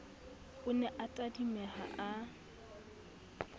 o ne a tadimeha a